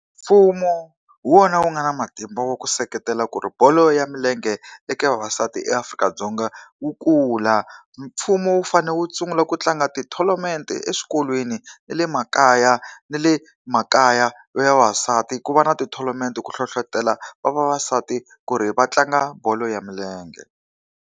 Mfumo hi wona wu nga na matimba wa ku seketela ku ri bolo ya milenge eka vavasati eAfrika-Dzonga wu kula. Mfumo wu fanele wu sungula ku tlanga ti-tournament-e eswikolweni na le makaya na le makayana le makaya ya vavasati ku va na ti-tournament ku hlohletelo vavasati ku ri va tlanga bolo ya milenge.